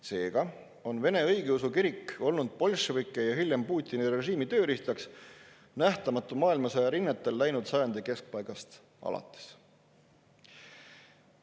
Seega on Vene Õigeusu Kirik olnud bolševike ja hiljem Putini režiimi tööriistaks nähtamatu maailmasõja rinnetel läinud sajandi keskpaigast alates.